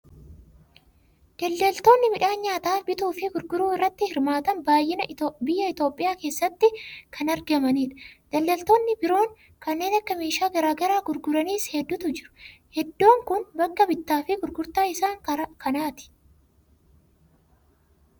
Daldaltoonni midhaan nyaataa bituufi gurguruu irratti hirmaatan baay'inaan biyya Itoophiyaa keessatti kan argamanidha. Daldaltoonni biroon kanneen meeshaa gara garaa gurguranis hedduutu jiru. Iddoon kun bakka bittaa fi gurgurtaa isaan kanaati.